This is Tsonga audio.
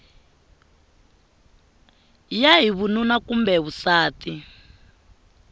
ya hi vununa kumbe vusati